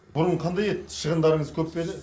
бұрын қандай еді шығындарыңыз көп пе еді